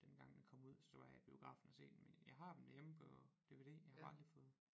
Dengang den kom ud så var jeg i biografen og se dem men jeg har dem derhjemme på dvd jeg har bare aldrig fået